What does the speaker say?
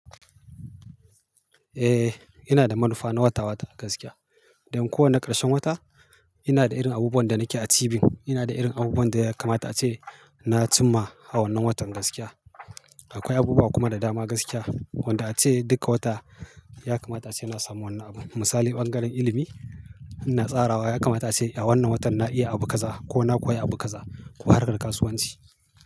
Eh, ina da manufa na wata-wata a gaskiya. Don kowane ƙarshen wata ina da irin abubuwan da nake a tibin. Ina da irin abubuwan da ya kamata ace na cimma a wannan watan gaskiya. Akwai abubuwa kuma da dama gaskiya wanda ace duka wata ya kamata ace na samu wani abu. Misali ɓangaren ilimi ina tsarawa ya kamata ace a wannan watan na iya abu kaza ko na koya abu kaza ko har da kasuwanci.